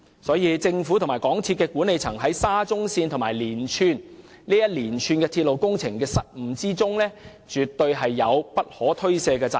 故此，政府和港鐵公司管理層在沙中線和連串鐵路工程的失誤中，絕對有不可推卸的責任。